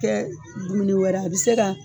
Kɛ dumuni wɛrɛ ye, a bɛ se ka